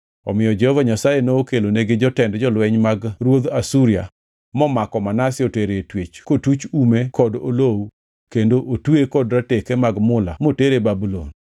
Omiyo Jehova Nyasaye nokelonigi jotend jolweny mag ruodh Asuria momako Manase otero e twech kotuch ume kod olowu kendo otweye kod rateke mag mula motere Babulon.